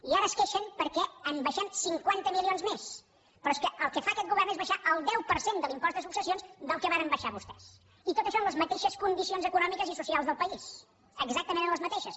i ara es queixen perquè en baixem cinquanta milions més però és que el que fa aquest govern és baixar el deu per cent de l’impost de successions del que varen baixar vostès i tot això en les mateixes condicions econòmiques i socials del país exactament en les mateixes